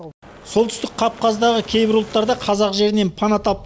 солтүстік кавказдағы кейбір ұлттар да қазақ жерінен пана тап